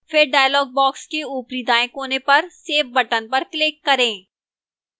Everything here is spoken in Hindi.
फिर dialog box के ऊपरी दाएं कोने पर save button पर click करें